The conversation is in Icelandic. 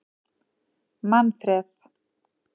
Manfreð